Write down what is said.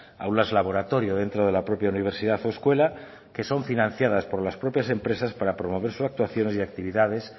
aulas laboratorio dentro de la propia universidad o escuela que son financiadas por las propias empresas para promover sus actuaciones y actividades